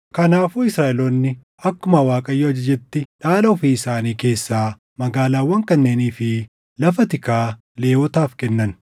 Kanaafuu Israaʼeloonni akkuma Waaqayyo ajajetti dhaala ofii isaanii keessaa magaalaawwan kanneenii fi lafa tikaa Lewwotaaf kennan.